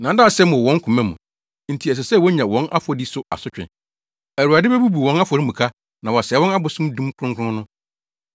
Nnaadaasɛm wɔ wɔn koma mu, nti ɛsɛ sɛ wonya wɔn afɔdi so asotwe. Awurade bebubu wɔn afɔremuka, na wasɛe wɔn abosom dum kronkron no.